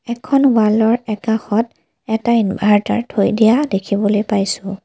এখন ৱালৰ একাষত এটা ইনভাৰতাৰ থৈ দিয়া দেখিবলৈ পাইছোঁ।